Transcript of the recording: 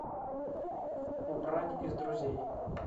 убрать из друзей